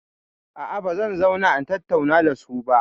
A'a, ba zan zauna in tattauna da su ba.